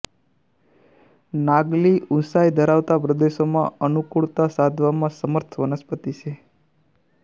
નાગલી ઊઁચાઈ ધરાવતા પ્રદેશોમાં અનુકૂળતા સાધવામાં સમર્થ વનસ્પતિ છે